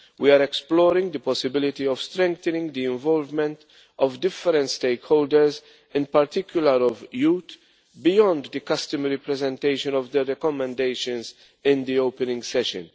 We are exploring the possibility of strengthening the involvement of different stakeholders, in particular of youth, beyond the customary presentation of the recommendations in the opening session.